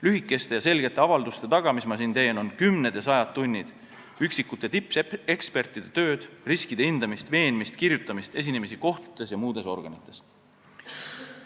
Lühikeste ja selgete avalduste taga, mis ma siin teen, on kümned ja sajad tunnid tippekspertide tööd, riskide hindamist, veenmist, kirjutamist, esinemisi kohtutes ja muudes organites.